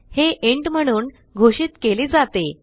हे इंट म्हणून घोषित केले जाते